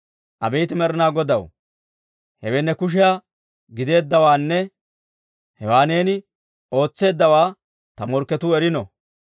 Abeet Med'inaa Godaw, hewe ne kushiyaa gideeddawaanne hewaa neeni ootseeddawaa ta morkketuu erino.